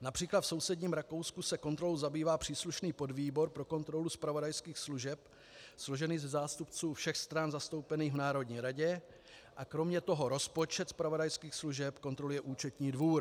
Například v sousedním Rakousku se kontrolou zabývá příslušný podvýbor pro kontrolu zpravodajských služeb složený ze zástupců všech stran zastoupených v Národní radě a kromě toho rozpočet zpravodajských služeb kontroluje účetní dvůr.